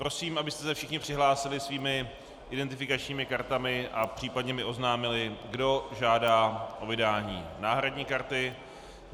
Prosím, abyste se všichni přihlásili svými identifikačními kartami a případně mi oznámili, kdo žádá o vydání náhradní karty.